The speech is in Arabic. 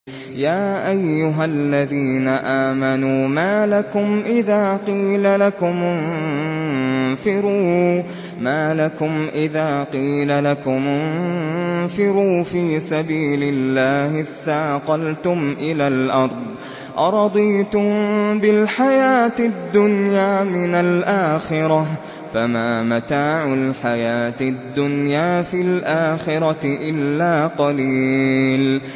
يَا أَيُّهَا الَّذِينَ آمَنُوا مَا لَكُمْ إِذَا قِيلَ لَكُمُ انفِرُوا فِي سَبِيلِ اللَّهِ اثَّاقَلْتُمْ إِلَى الْأَرْضِ ۚ أَرَضِيتُم بِالْحَيَاةِ الدُّنْيَا مِنَ الْآخِرَةِ ۚ فَمَا مَتَاعُ الْحَيَاةِ الدُّنْيَا فِي الْآخِرَةِ إِلَّا قَلِيلٌ